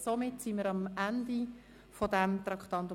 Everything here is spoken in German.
Somit sind wir am Ende des Traktandums 6 angelangt.